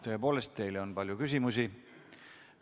Tõepoolest, teile on palju küsimusi.